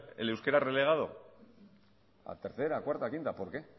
el euskera relegado a tercera cuarta quinta por qué